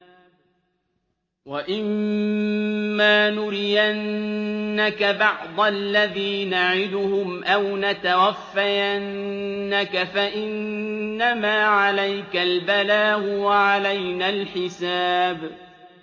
وَإِن مَّا نُرِيَنَّكَ بَعْضَ الَّذِي نَعِدُهُمْ أَوْ نَتَوَفَّيَنَّكَ فَإِنَّمَا عَلَيْكَ الْبَلَاغُ وَعَلَيْنَا الْحِسَابُ